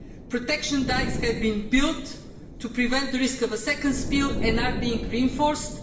protection dikes have been built to prevent the risk of a second spill and are being reinforced.